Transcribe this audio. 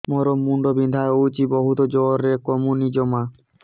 ମୋର ମୁଣ୍ଡ ବିନ୍ଧା ହଉଛି ବହୁତ ଜୋରରେ କମୁନି ଜମା